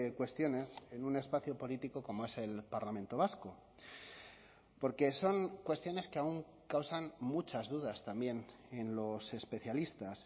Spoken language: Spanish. cuestiones en un espacio político como es el parlamento vasco porque son cuestiones que aún causan muchas dudas también en los especialistas